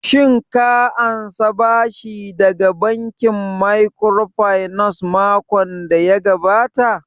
Shin ka ansa bashi daga bankin microfinance makon daya gabata?